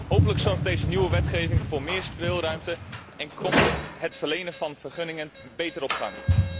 Hopelijk zorgt deze nieuwe wetgeving voor meer speelruimte en komt het verlenen van vergunningen beter op gang.